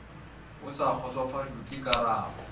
o sa kgotsofatšwe ke karabo